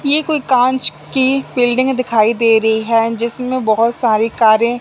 ये कोई कांच की बिल्डिंग दिखाई दे रही हैं जिसमें बहोत सारी कारे --